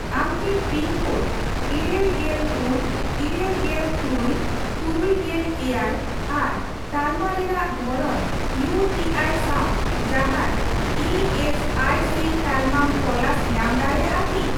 ᱟᱢ ᱠᱤ pin code ᱤᱨᱟᱹᱞ ᱜᱮᱞ ᱯᱩᱱ ,ᱤᱨᱟᱹᱞᱜᱮᱞ ᱛᱩᱨᱩᱭ ,ᱛᱩᱨᱩᱭᱜᱮᱞ ᱮᱭᱟᱭ ᱟᱨ ᱛᱟᱞᱢᱟ ᱨᱮᱱᱟᱜ ᱫᱷᱚᱨᱚᱱ ᱤᱭᱩᱴᱤᱟᱭ ᱥᱟᱣ ᱡᱟᱦᱟᱱ ᱤ ᱮᱥ ᱟᱤ ᱥᱤ ᱛᱟᱞᱢᱟᱢ ᱛᱚᱞᱟᱥ ᱧᱟᱢ ᱫᱟᱲᱮᱭᱟᱜᱼᱟ ᱠᱤ ?